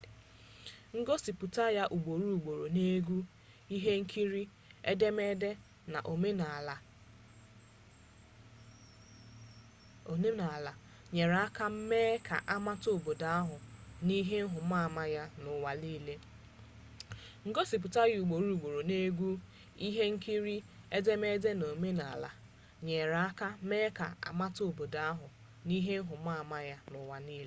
ngosipụta ya ugboro ugboro n'egwu ihe nkiri edemede na omenaala ama ama nyere aka mee ka amata obodo ahụ na ihe nhụmaama ya n'ụwa niile